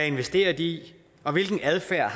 investerer i og hvilken adfærd